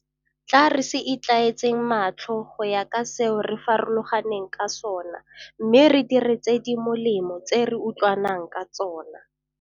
Tla re se itlhaetseng matlho go ya ka seo re farologaneng ka sona mme re dire tse di molemo tse re utlwa nang ka tsona.